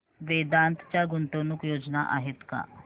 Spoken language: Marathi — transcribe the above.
वेदांत च्या गुंतवणूक योजना आहेत का